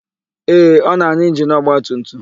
Ee, ọ na-arụ injinu ọgbatumtum.